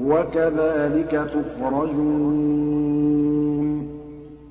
وَكَذَٰلِكَ تُخْرَجُونَ